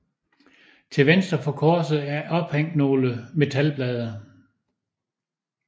Til venstre for korset er ophængt nogle metalblade